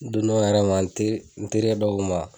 Dunan yɛrɛ ma n ter n terikɛ dɔw ma